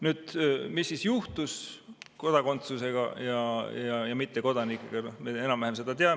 Nüüd, mis siis juhtus kodakondsusega ja mittekodanikega, seda me enam-vähem teame.